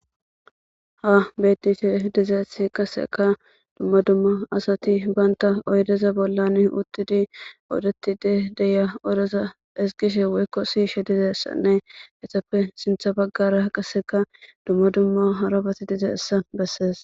ha betife dizeessi kaseka dumma dumma asati banta oydeza bollan uttidi oodetide deya odeza esgishe woykko siishe dizeessanne etappe sintha baggara qaseka dumma dumma harabati dizayissa bessees